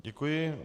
Děkuji.